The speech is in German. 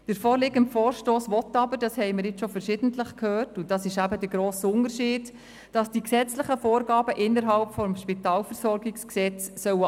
Der vorliegende Vorstoss will jedoch, wie wir verschiedentlich gehört haben, dass die gesetzlichen Vorgaben des SpVG angepasst werden sollen.